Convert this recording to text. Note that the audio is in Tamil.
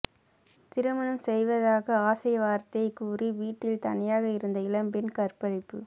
திருமணம் செய்வதாக ஆசை வார்த்தை கூறி வீட்டில் தனியாக இருந்த இளம் பெண் கற்பழிப்பு